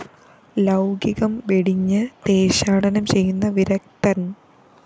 ലൗകികം വെടിഞ്ഞ് ദേശാടനം ചെയ്യുന്ന വിരക്തന്‍